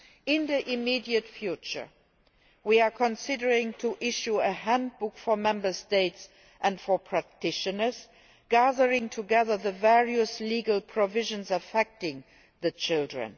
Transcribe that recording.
In the immediate future, we are considering issuing a handbook for Member States and for practitioners, gathering together the various legal provisions affecting children.